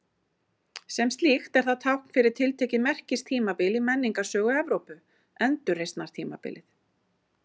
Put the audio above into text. Sem slíkt er það tákn fyrir tiltekið merkistímabil í menningarsögu Evrópu, Endurreisnartímabilið.